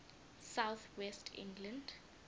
south west england